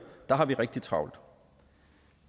har vi rigtig travlt